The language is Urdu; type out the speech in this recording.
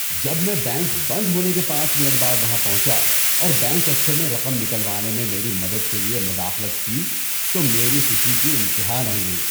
جب میں بینک بند ہونے کے پانچ منٹ بعد وہاں پہنچا اور بینک افسر نے رقم نکلوانے میں میری مدد کے لیے مداخلت کی تو میری خوشی کی انتہا نہ رہی۔